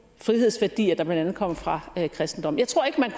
frihedsværdier der blandt andet kommer fra kristendommen jeg tror ikke man